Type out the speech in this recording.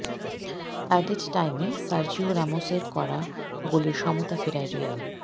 aided টাইমে Sergio রামোসের করা গোলে সমতা ফেরায় রিয়াল